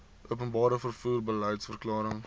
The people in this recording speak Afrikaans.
openbare vervoer beliedsverklaring